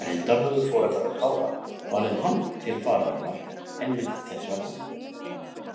Reyndar höfðu foreldrar Kára valið hann til fararinnar einmitt þess vegna.